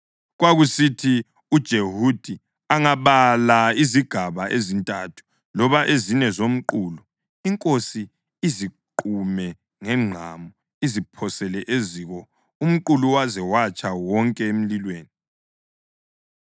Kwakusithi uJehudi angabala izigaba ezintathu loba ezine zomqulu, inkosi iziqume ngengqamu iziphosele eziko umqulu waze watsha wonke emlilweni.